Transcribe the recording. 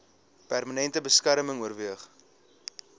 permanente beskerming oorweeg